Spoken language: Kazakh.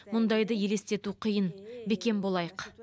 мұндайды елестету қиын бекем болайық